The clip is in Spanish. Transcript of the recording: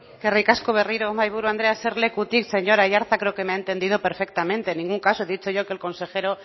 eskerrik asko berriro mahai buru andrea eserlekutik señor aiartza creo que me ha entendido perfectamente en ningún caso he dicho yo que el consejero